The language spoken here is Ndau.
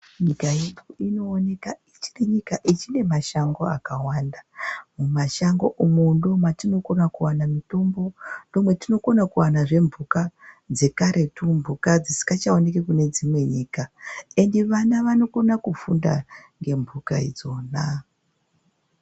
Nyika ino inooneka ichiri nyika ichine mashango akawanda. Mumashango umu ndomatinokona kuwana mitombo, ndomatinokona kuwanazve mhuka dzekaretu. Mhuka dzisikachakoni kune dzimwe nyika ende vana vanokona kufunda ngemhuka idzona.